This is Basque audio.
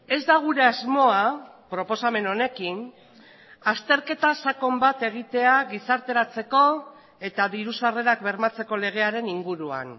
ez da gure asmoa proposamen honekin azterketa sakon bat egitea gizarteratzeko eta diru sarrerak bermatzeko legearen inguruan